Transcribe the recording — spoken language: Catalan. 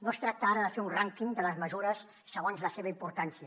no es tracta ara de fer un rànquing de les mesures segons la seva importància